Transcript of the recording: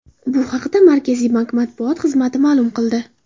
Bu haqda Markaziy bank matbuot xizmati ma’lum qildi.